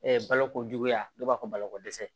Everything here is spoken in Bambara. balokojuguya n'o b'a fɔ balo ko dɛsɛ